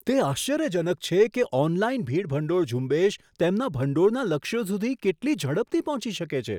તે આશ્ચર્યજનક છે કે ઓનલાઈન ભીડ ભંડોળ ઝુંબેશ તેમના ભંડોળના લક્ષ્યો સુધી કેટલી ઝડપથી પહોંચી શકે છે.